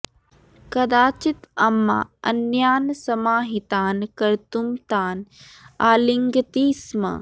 कदाचित् अम्मा अन्यान् समाहितान् कर्तुं तान् आलिङ्गति स्म